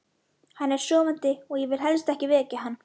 Hann er sofandi og ég vil helst ekki vekja hann.